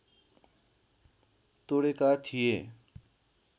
तोडेका थिए